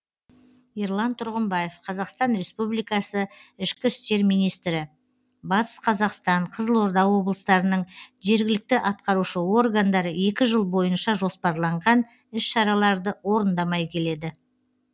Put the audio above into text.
ерлан тұрғымбаев қазақстан республикасы ішкі істер министрі батыс қазақстан қызылорда облыстарының жергілікті атқарушы органдары екі жыл бойынша жоспарланған іс шараларды орындамай келеді